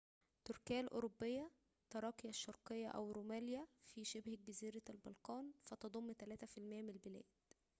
تركيا الأوروبية تراقيا الشرقية أو روميليا في شبه جزيرة البلقان فتضم 3% من البلاد